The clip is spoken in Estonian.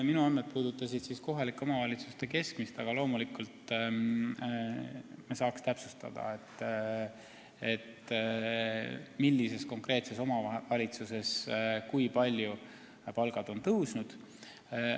Minu andmed puudutasid kohalike omavalitsuste keskmist, aga loomulikult me saaks täpsustada, kui palju on palgad mingis konkreetses omavalitsuses tõusnud.